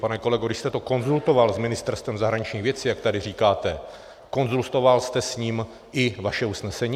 Pane kolego, když jste to konzultoval s Ministerstvem zahraničních věcí, jak tady říkáte, konzultoval jste s ním i vaše usnesení?